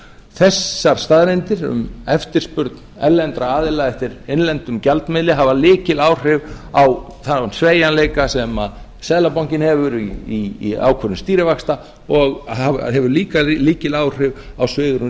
þessar staðreyndir um eftirspurn erlendra aðila eftir innlendum gjaldmiðli hefur lykiláhrif á þann sveigjanleika sem seðlabankinn hefur í ákvörðun stýrivaxta og hefur líka lykiláhrif á svigrúm